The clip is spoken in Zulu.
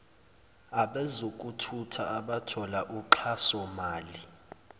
abezokuthutha abathola uxhasomali